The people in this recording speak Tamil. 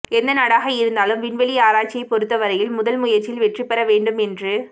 எந்த நாடாக இருந்தாலும் விண்வெளி ஆராய்ச்சியை பொறுத்தவரையில் முதல் முயற்சியில் வெற்றிபெற வேண்டும் என்று